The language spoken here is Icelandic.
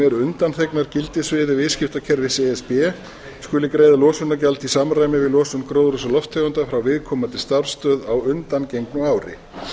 eru undanþegnar gildissviði viðskiptakerfis e s b skuli greiða losunargjald í samræmi við losun gróðurhúsalofttegunda frá viðkomandi starfsstöð á undangengnu ári